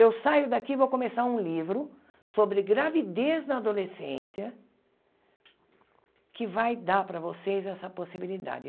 Eu saio daqui e vou começar um livro sobre gravidez na adolescência, que vai dar para vocês essa possibilidade.